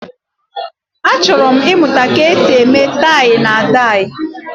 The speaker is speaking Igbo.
achoro m imuta ka esi eme tai na dai